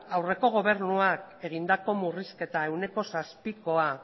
aurreko gobernuak egindako murrizketa ehuneko zazpikoa